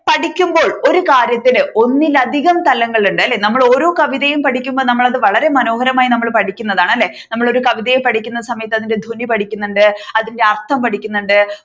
പഠിക്കുമ്പോൾ ഒരു കാര്യത്തിൽ ഒന്നിനധികം തലങ്ങൾ ഉണ്ട് അല്ലെ നമ്മൾ ഓരോ കവിതയും പഠിക്കുമ്പോൾ നമ്മൾ അത് വളരെ മനോഹരമായി പഠിക്കുന്നതാണ് അല്ലെ നമ്മൾ ഒരു കവിതയെ പഠിക്കുന്ന സമയത്തു അതിന്റെ ധ്വനി പഠിക്കുന്നുണ്ട് അതിന്റെ അർഥം പഠിക്കുന്നുണ്ട്